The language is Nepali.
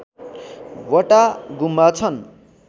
वटा गुम्बा छन्